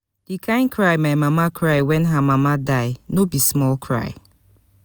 di kain cry wey my mama cry wen her mama die no be small cry.